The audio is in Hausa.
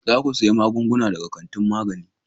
Za ku siyi magungunan daga kantin magani.